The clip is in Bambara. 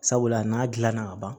Sabula n'a gilanna ka ban